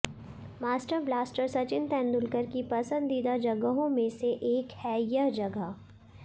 master blaster Sachin Tendulkar की पसंदीदा जगहों में से एक है यह जगह